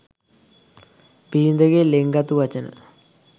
බිරිඳගේ ළෙන්ගතු වචන